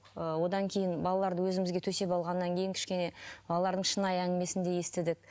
ііі одан кейін балаларды өзімізге төсеп алғаннан кейін кішкене балалардың шынайы әңгімесін де естідік